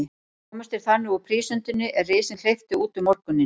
Komust þeir þannig úr prísundinni, er risinn hleypti út um morguninn.